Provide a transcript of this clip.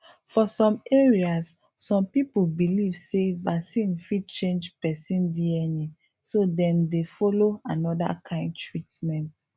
for some areas some people believe say vaccine fit change person dna so dem dey follow another kind treatment